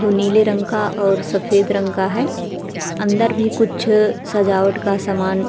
जो नीले रंग का और सफेद रंग का है । अंदर भी कुछ अ सजावट का सामान --